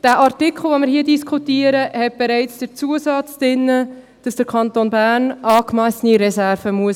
Der Artikel, den wir hier diskutieren, enthält bereits den Zusatz, wonach der Kanton Bern angemessene Reserven haben muss.